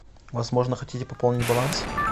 возможно хотите пополнить баланс